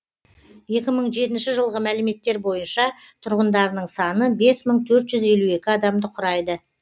екі мың жетінші жылғы мәліметтер бойынша тұрғындарының саны бес мың төрт жүз елу екі адамды құрайды